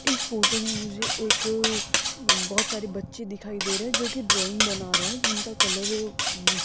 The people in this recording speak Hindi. इस फोटो में मुझे एक बहोत सारे बच्चे दिखाई दे रहे जो की ड्राइंग बना रहे जिनका कलर अ --